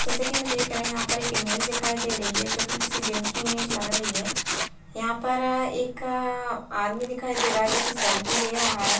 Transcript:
जैसे कि मे देख रहे हैं यहाँ पे एक इमेज दिखाई दे रही है जोकि किसी जिम की इमेज लग रही है। यहाँ पर अ एक अ आदमी दिखाई दे रहा है जो की सेल्फी ले रहा है।